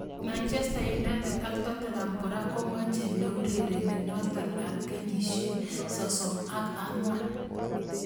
Manchester United ak Tottenham kora komoche ne urereni noto ab kenyisiek 34.